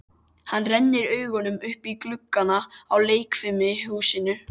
Hann rennir augunum upp í gluggana á leikfimihúsinu.